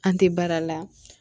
An tɛ baara la